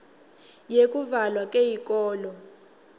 yekuvalwa kweyikolo